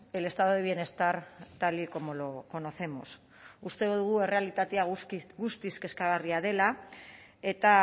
el estado de bienestar tal y como lo conocemos uste dugu errealitatea guztiz kezkagarria dela eta